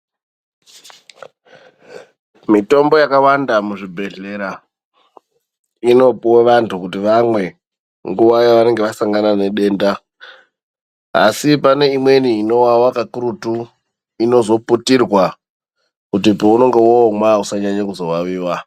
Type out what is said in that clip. Mitombo yakawanda muzvibhedhlera inopuwa vantu kuti vamwe nguva yavanenge vasangana nedenda asi pane imweni inovava kakurutu inozoputirwa kuti paunenge womwa usazovaviwa.